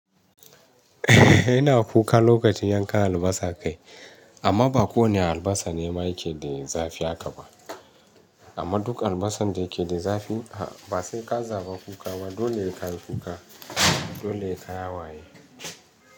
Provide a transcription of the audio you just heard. Ina kuka lokacin yankan albasa kai, amma ba kowane albasa ne ma yake de, zafi aka ba. Amma duk albasan da ke da zafi, ba sai ka zaba kuka ba dole ka yi kuka. Dole ka yi hawaye.